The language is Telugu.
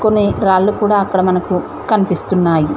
అనే రాళ్లు కూడా అక్కడ మనకు కనిపిస్తున్నాయి.